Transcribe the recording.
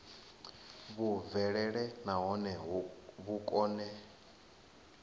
vhu bvelele nahone vhu kone